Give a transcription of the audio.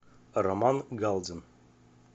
роман галдин